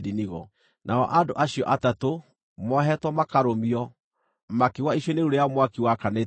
nao andũ acio atatũ, moohetwo makarũmio, makĩgũa icua-inĩ rĩu rĩa mwaki wakanĩte mũno.